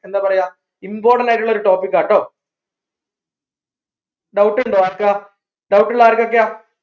എന്താ പറയാ important ആയിട്ടുള്ള ഒരു topic ആട്ടോ doubt ഇണ്ടോ ആർക്കാ doubt ഉള്ള ആർക്കൊക്കെയാ